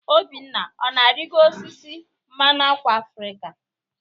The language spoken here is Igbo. Obinna ọ na-arịgo osisi mmanụ ákwà Afrịka?